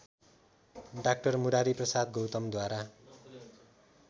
डा मुरारीप्रसाद गौतमद्वारा